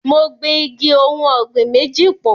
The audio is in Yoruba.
Mo gbin igi ohùn ọ̀gbìn méjì pọ̀.